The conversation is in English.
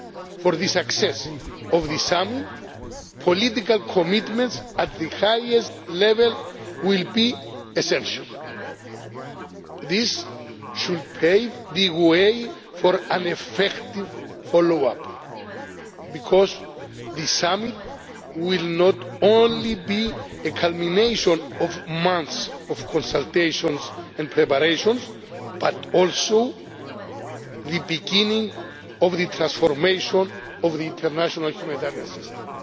same. For the success of the Summit, political commitments at the highest level will be essential. These should pave the way for an effective follow-up, because the Summit will not only be a culmination of months of consultations and preparations, but also the beginning of the transformation of the international humanitarian